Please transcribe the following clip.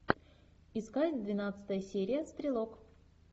искать двенадцатая серия стрелок